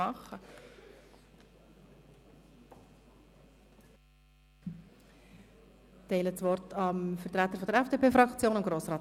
Ich erteile Grossrat Haas, dem Fraktionssprecher der FDP, das Wort.